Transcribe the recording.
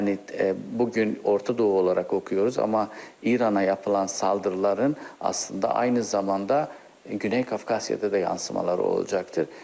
Yəni bu gün Orta Doğu olaraq oxuyuruq amma İrana yapılan saldırıların aslında aynı zamanda Güney Kafkasyada da yansımaları olacaqdır.